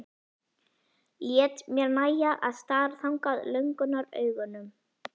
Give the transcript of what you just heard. Læt mér nægja að stara þangað löngunaraugum.